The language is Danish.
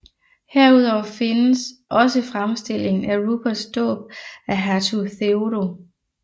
Herudover findes også fremstillingen af Ruperts dåb af hertug Theodo